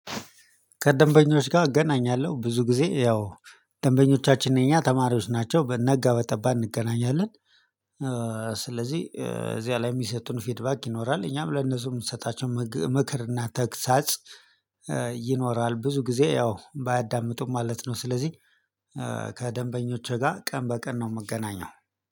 ከደንበኞች ጋ እገናኛለሁ ብዙ ጊዜ ያው ደንበኞቻችን እኛ ተማሪዎች ናቸው በነጋ በጠባ እንገናኛለን። ስለዚህ እዚያ ላይ ሚሰጡን ፊድባክ ይኖራል እኛም ለነሱ ምንሰጣቸው ምክ ምክርና ተግሳጽ ይኖራል ብዙ ጊዜ ያው ባያዳምጡም ማለት ነው። ስለዚህ ከደንበኞቼ ጋር ቀን በቀን ነው ምገናኘው